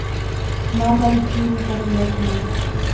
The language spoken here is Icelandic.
Nánari skýringar í lesmáli.